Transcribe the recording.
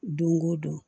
Don o don